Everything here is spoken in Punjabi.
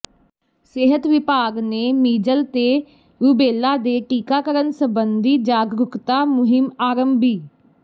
ਸਿਹਤ ਵਿਭਾਗ ਨੇ ਮੀਜਲ ਤੇ ਰੁਬੇਲਾ ਦੇ ਟੀਕਾਕਰਨ ਸਬੰਧੀ ਜਾਗਰੂਕਤਾ ਮੁਹਿੰਮ ਆਰੰਭੀ